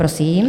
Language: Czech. Prosím.